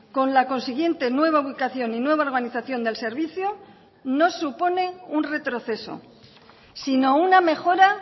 con la consiguiente nueva ubicación y nueva organización del servicio no supone un retroceso sino una mejora